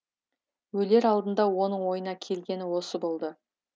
өлер алдында оның ойына келгені осы болды